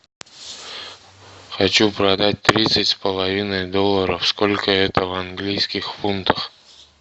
хочу продать тридцать с половиной долларов сколько это в английских фунтах